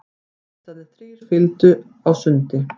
Hestarnir þrír fylgdu á sundi.